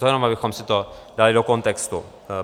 To jenom abychom si to dali do kontextu.